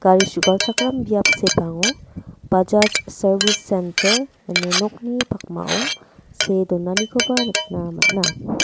gari su·galchakram biap sepango bajaj sarbis sentar ine nokni pakmao see donanikoba nikna man·a.